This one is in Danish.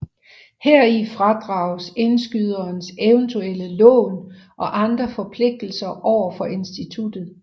Heri fradrages indskyderens eventuelle lån og andre forpligtelser over for instituttet